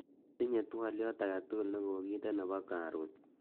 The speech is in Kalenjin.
otinye twolyot agetugul negoginde nebo karun